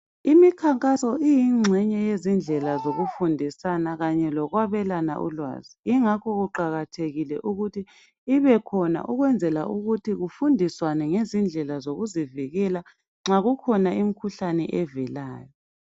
Imikhankaso iyingxenye yezindlela zokufundisana kanye lokwabelana ulwazi. Ingakho kuqakathekile ukuthi ibekhona ukwenzela ukuthi kufundiswane ngezindlela zokuzivikela nxa kukhona imikhuhlane evelayo.